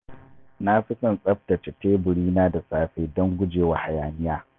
Na fi son tsaftace teburina da safe don gujewa hayaniya.